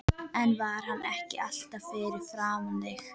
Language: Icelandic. En var hann ekki alltaf fyrir framan þig?